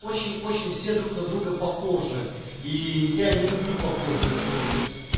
очень-очень все друг на друга похожи и я не люблю похожее слушать